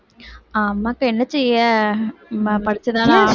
ஆமாக்கா என்ன செய்ய நம்ம படிச்சுதான ஆக~